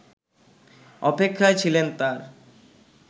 অপেক্ষায় ছিলেন তার